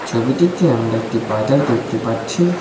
ছবিটিতে আমরা একটি বাজার দেখতে পাচ্ছি।